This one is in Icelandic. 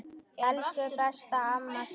Elsku besta amma Sif.